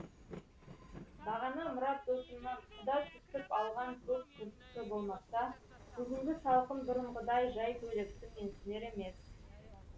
бағана мұрат досымнан құда түсіп алған көк күрткі болмаса бүгінгі салқын бұрынғыдай жай көйлекті менсінер емес